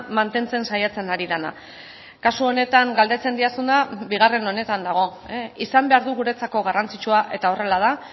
mantentzen saiatzen ari dena kasu honetan galdetzen didazuna bigarren honetan dago izan behar du guretzako garrantzitsua eta horrela da